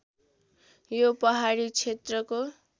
यो पहाडी क्षेत्रको